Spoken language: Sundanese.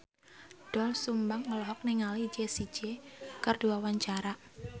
Doel Sumbang olohok ningali Jessie J keur diwawancara